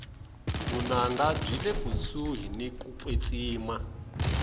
vunanga byile kusuhi niku kwetsima